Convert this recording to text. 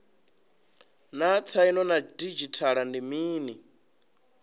naa tsaino ya didzhithala ndi mini